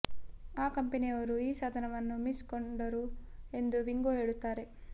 ಆ ಕಂಪನಿಯವರು ಈ ಸಾಧನವನ್ನು ಮಿಸ್ ಕೊಂಡರು ಎಂದು ವಿಂಗೋ ಹೇಳುತ್ತಾರೆ